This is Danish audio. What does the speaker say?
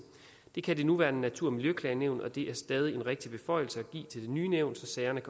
det kan det nuværende natur og miljøklagenævn og det er stadig en rigtig beføjelse at give til det nye nævn så sagerne